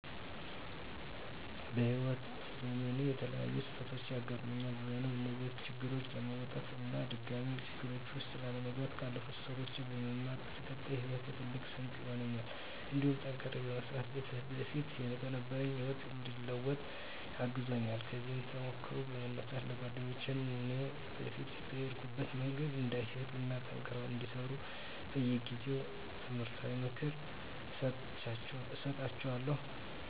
በህይዎት ዘመኔ የተለያዩ ስህተቶች ያጋጠሙኝ ቢሆንም እነዚያን ችግሮች ለመወጣት እና ድጋሜ ችግር ውስጥ ላለመግባት ካለፉት ስህተቶች በመማር ለቀጣይ ሂወቴ ትልቅ ስንቅ ሆኖኛል እንዲሁም ጠንክሬ በመስራት በፊት ከነበረኝ ህይወት እንድለወጥ አግዞኛል። ከዚህ ተሞክሮ በመነሳት ለጓደኞቸ እኔ በፊት በሄድኩበት መንገድ እንዳይሄዱ እና ጠንክረው እንዲሰሩ በየጊዜው ትምህርታዊ ምክር እሰጣቸዋለሁ።